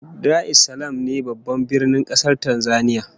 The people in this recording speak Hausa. Dar es Salaam ne Babban Birnin kasar Tanzania